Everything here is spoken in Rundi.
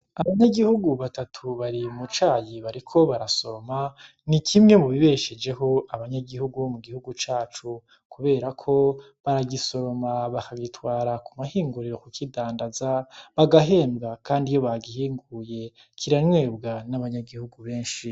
Abanyagihugu batatu bari mu cayi bariko barasoroma ni kimwe mu bibeshejeho abanyagihugu bo mu gihugu cacu kuberako baragisoroma bakagitwara ku mahinguriro kukidandaza bagahembwa kandi iyo bagihinguye, kiranyobwa n'abanyagihugu benshi.